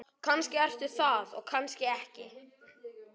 Kannski ertu það og kannski ekki.